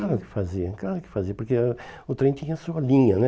Claro que fazia, claro que fazia, porque o o trem tinha a sua linha, né?